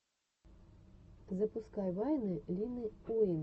запускай вайны лины уин